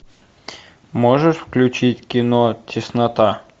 можешь включить кино теснота